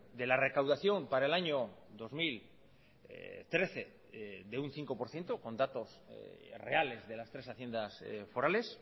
de la recaudación para el año dos mil trece de un cinco por ciento con datos reales de las tres haciendas forales